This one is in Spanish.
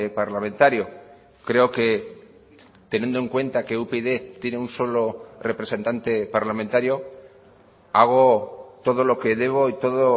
parlamentario creo que teniendo en cuenta que upyd tiene un solo representante parlamentario hago todo lo que debo y todo